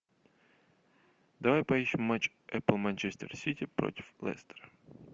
давай поищем матч апл манчестер сити против лестер